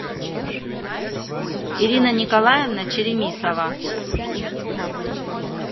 ирина николаевна черемисова